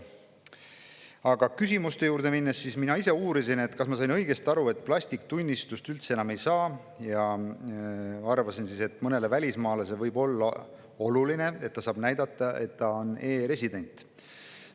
Aga küsimuste juurde minnes: mina ise uurisin, kas ma sain õigesti aru, et plasttunnistust üldse enam ei saa, ja avaldasin arvamust, et mõnele välismaalasele võib olla oluline, et ta saab näidata, et ta on e‑resident.